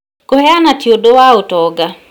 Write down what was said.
Kũheana tĩ ũndũ wa ũtonga